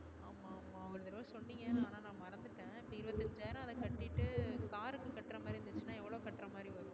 ஆஹ் ஒரு தடவ சொன்னிங்க ஆனா நா மறந்துட்ட இப்போ இருபத்து ஐஞ்சாயிரம் அத கட்டிட்டு car க்கு கட்டுறமாதிரி இருந்துச்சுன்னா எவ்ளோ கற்றமாதிரி வரும்.